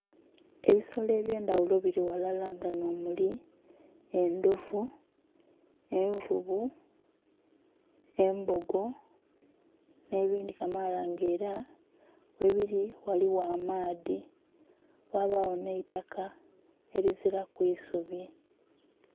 Ebisolo ebye ndhaghulo bili ghalala nga nho muli endhovu, envuvu, embogo nhe bindhi kamaala nga era ghebiri ghaligho amaadhi ghabagho nheitaka erizilaku isubi.